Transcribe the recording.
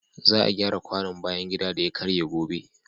Za a gyara kwanon bayan gida da ya karye gobe.